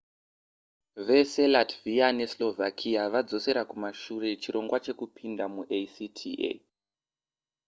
vese latvia neslovakia vadzosera kumashure chirongwa chekupinda muacta